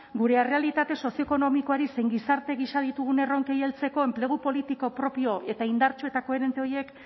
gure errealitate sozioekonomikoari zein gizarte gisa ditugun erronkei heltzeko enplegu politiko propio eta indartsu eta koherente horiek